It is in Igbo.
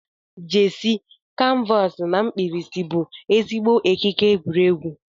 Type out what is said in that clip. jersey, canvas na mkpirisi bụ ezigbo ekike egwuregwu.